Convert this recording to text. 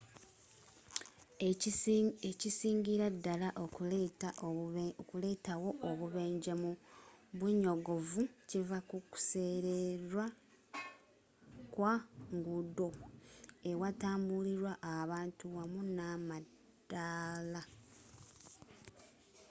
ekisingira ddala okuleetawo obubenje mu bunyogovu kiva ku kuserera kwa nguudo, ewatambulirwa abantu wamu namadaala